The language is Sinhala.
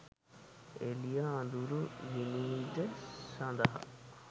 එළිය අඳුර විනිවිද සඳහා